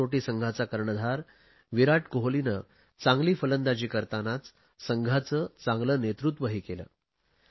कसोटी संघाचा कर्णधार विराट कोहलीने चांगली फलंदाजी करतानाच संघाचे चांगले नेतृत्वही केले